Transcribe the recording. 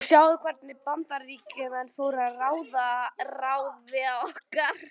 Og sjáðu hvernig við Bandaríkjamenn fórum að ráði okkar.